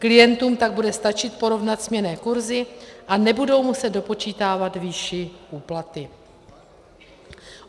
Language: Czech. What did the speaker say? Klientům tak bude stačit porovnat směnné kurzy a nebudou muset dopočítávat výši úplaty.